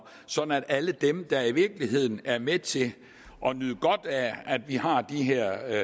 sådan at alle dem der i virkeligheden er med til at nyde godt af at vi har de her